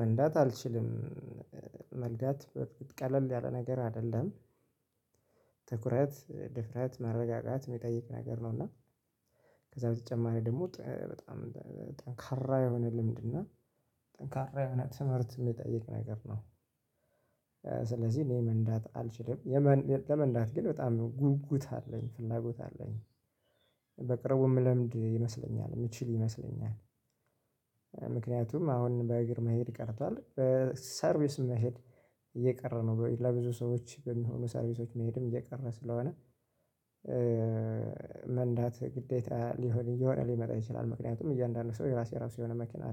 መንዳት አልችልም መንዳት ቀለል ያለ ነገር አደለም ትኩረት፣ ድፍረት፣ መረጋጋት ሚጠይቅ ነገር ነው። እና ከዛ በተጨማሪ ደግሞ በጣም ጠንካራ የሆነ ልምድ እና ጠንካራ የሆነ ትምህርት ሚጠይቅ ነገር ነው። ስለዚህ እኔ መንዳት አልችልም ለመንዳት ግን በጣም ጉጉት አለኝ ፍላጎት አለኝ። በቅርቡ ምለምድ ይመስለኛል ምችል ይመስለኛል። ምክንያቱም አሁን በእግር መሄድ ቀርቷል ሰርቪስ መሄድ እየቀረ ነው ለብዙ ሰዎች በሚሆኑ ሰርቪሶች መሄድም እየቀረ ስለሆነ። መንዳት ግዴታ ሊሆን እየሆነ ሊመጣ ይችላል። ምክንያቱም እያንዳንዱ ሰው የራሱ ራሱ የሆነ መኪና